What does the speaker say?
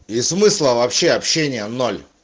и смысла вообще общения ноль